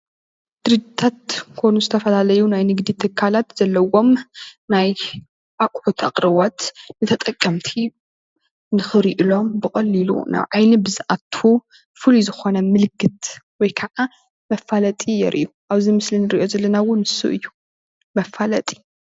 ድርጅታት ኮኑ ዝተፈላለዩ ናይ ንግዲ ትካላት ዘለውዎም ናይ ኣቁሑት ኣቅርቦት ንተጠቀምቲ ንክሪእሎም ብቀሊሉ ናብ ዓይኒ ብዝኣቱ ፍሉይ ዝኮነ ምልክት ወይከዓ መፋለጢ የርእዩ። ኣብዚ ምስሊ ንርእዮ ዘለና እውን ንሱ እዩ መፋለጢ።